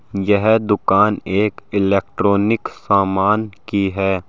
यह दुकान एक इलेक्ट्रॉनिक सामान की है।